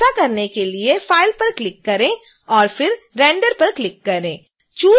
ऐसा करने के लिए file पर क्लिक करें और फिर render पर क्लिक करें